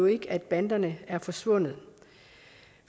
ikke at banderne er forsvundet